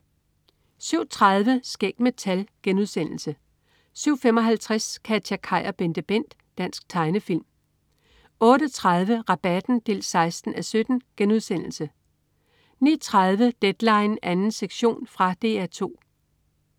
07.30 Skæg med tal* 07.55 KatjaKaj og BenteBent. Dansk tegnefilm 08.30 Rabatten 16:17* 09.30 Deadline 2. sektion. Fra DR 2